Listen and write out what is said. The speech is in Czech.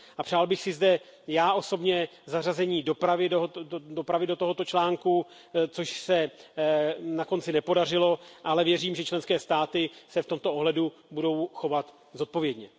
Přál bych si zde, já osobně, zařazení dopravy do tohoto článku, což se na konci nepodařilo, ale věřím, že členské státy se v tomto ohledu budou chovat zodpovědně.